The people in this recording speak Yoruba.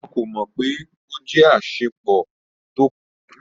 Wọn ko mọ pe o jẹ asopọ ti ko tọ ti o fa ina ninu ile naa.